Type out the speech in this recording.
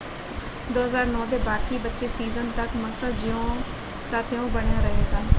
2009 ਦੇ ਬਾਕੀ ਬਚੇ ਸੀਜ਼ਨ ਤੱਕ ਮਸਾ ਜਿਉਂ ਤਾਂ ਤਿਉਂ ਬਣਿਆ ਰਹੇਗਾ।